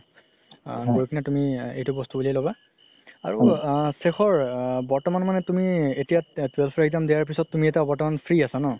আ গৈ কিনে তুমি এই বস্তু উলিয়াই ল'বা আৰু আ সেখৰ আ বৰ্তমান মানে তুমি এতিয়া twelve ৰ exam দিয়াৰ পিছত তুমি এতিয়া বৰ্তমান free আছা?